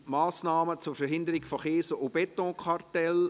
«Massnahmen zur Verhinderung von Kies- und Betonkartellen».